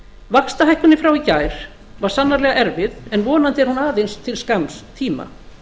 vaxtahækkunin frá í gær var sannarlega erfið en vonandi er hún aðeins til skamms tíma